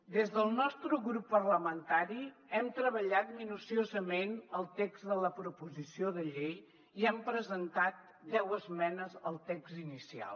des del nostre grup parlamentari hem treballat minuciosament el text de la proposició de llei i hem presentat deu esmenes al text inicial